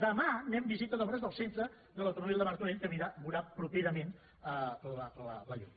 demà anem de visita d’obres del centre de l’automòbil de martorell que veurà properament la llum